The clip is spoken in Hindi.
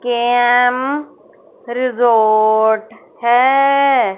के_एम रिजॉर्ट है।